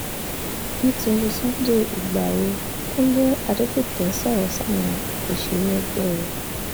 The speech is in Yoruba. nítorí sunday igbárò kúnlé adégbite sọ̀rọ̀ sáwọn òṣèré ẹgbẹ́ ẹ̀